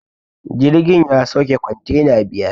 Jirgin ya sauke kwantena biyar